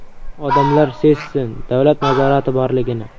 Odamlar sezsin davlat nazorati borligini.